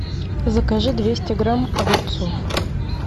закажи двести грамм огурцов